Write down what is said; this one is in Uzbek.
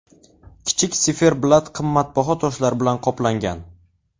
Kichik siferblat qimmatbaho toshlar bilan qoplangan.